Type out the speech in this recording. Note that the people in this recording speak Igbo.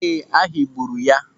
Ee, a higburu ya.